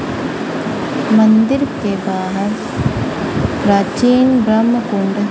मंदिर के बाहर प्राचीन ब्रह्म कुंड--